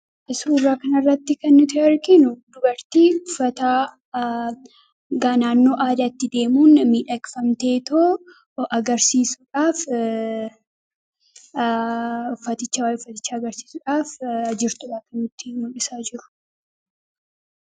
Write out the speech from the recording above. Suuraa kana irratti kan nuti arginu dubartii uffataa ganaannoo aadaatti deemuun miidhagfamteetoo agarsiisuudhaaf, waa'ee uffatichaa agarsiisuudhaaf jirtuudha kan nutti mul'isaa jiru.